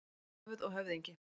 Höfuð og höfðingi.